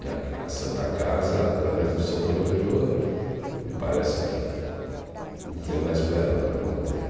E a a Santa Casa, através do seu provedor, me parece que não tem mais verba para mantê-lo.